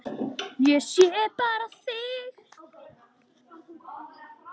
Ég sé bara þig!